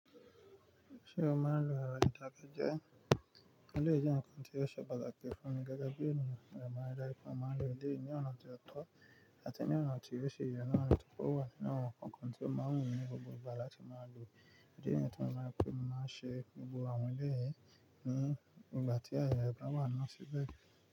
Ṣé o máa ń lo ero ìdákẹ́jẹ́? Eleyii je nkan ti o se pataki fun mi gege bi eniyan, mo de maa n ri daju pe mo maa nlo eleyi ni ona ti o to ati ni ona ti o si ye na, ati pe owa ninu awon nkankan to maa n wu mi ni gbogbo igba lati maa lo. Òdí nìyẹn tí mo máa ń pè pé mo máa ń ṣe gbogbo àwọn ilé yìí ní ìgbà tí àyà ẹ̀gbẹ́ wà lásìkò.